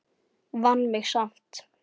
Vann mig samt.